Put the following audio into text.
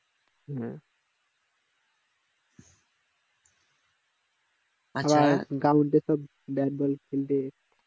ground এ সব bat ball খেলবে